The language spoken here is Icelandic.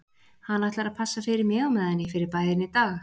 Hann ætlar að passa fyrir mig á meðan ég fer í bæinn í dag